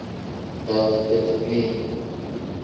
dat dit nie